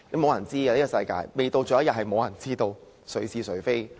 世事難料，未到最後一刻，也無人知道誰是誰非......